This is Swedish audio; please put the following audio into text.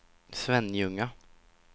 Svenljunga